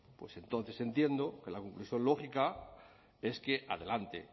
pues entonces entiendo que la conclusión lógica es que adelante